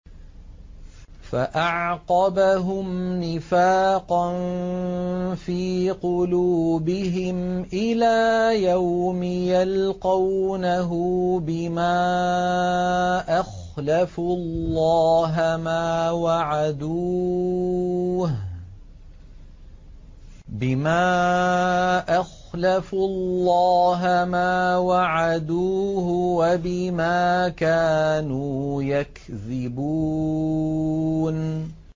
فَأَعْقَبَهُمْ نِفَاقًا فِي قُلُوبِهِمْ إِلَىٰ يَوْمِ يَلْقَوْنَهُ بِمَا أَخْلَفُوا اللَّهَ مَا وَعَدُوهُ وَبِمَا كَانُوا يَكْذِبُونَ